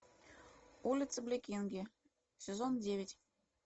улица блекинге сезон девять